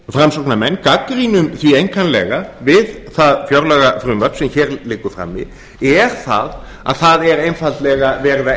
framsóknarmenn gagnrýnum því einkanlega við það fjárlagafrumvarp sem hér liggur frammi er að það er einfaldlega verið að